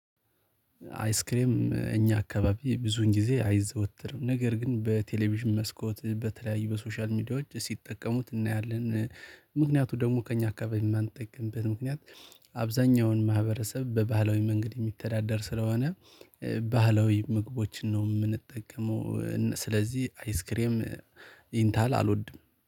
አይስክሬም እኛ አካባቢ ብዙን ጊዜ አይዘወትርም ነገር ግን በቴሌቪዥን መስኮት በተለያዩ በሶሻል ሚዲያዎች ሲጠቀሙት እናያለን። ምክንያቱም ደግሞ ከእኛ አካባቢ የማንጠቀምበት ምክንያት አብዛኛውን ማህበረሰብ በባህላዊ መንገድ የሚተዳደር ስለሆነ። ባህላዊ ምግቦችን ነው የምንጠቀመው። ስለዚህ አይስክሬም ይሄንታህል አልወድም።